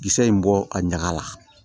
Kisɛ in bɔ a ɲaga la